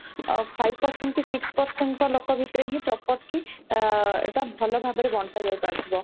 five percentage କି six percent ଙ୍କ ଲୋକଙ୍କ ଭିତରେ ହିଁ property ଆ ଏଇଟା ଭଲ ଭାବରେ ବଣ୍ଟା ଯାଇ ପାରୁଥିବ